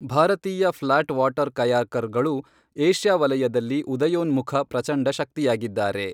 ಭಾರತೀಯ flat water ಕಯಾಕರ್ಗಳು Asia ವಲಯದಲ್ಲಿ ಉದಯೋನ್ಮುಖ ಪ್ರಚಂಡ ಶಕ್ತಿಯಾಗಿದ್ದಾರೆ.